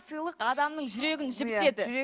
сыйлық адамның жүрегін жібітеді